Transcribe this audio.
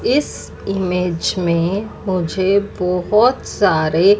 इस इमेज में मुझे बहोत सारे--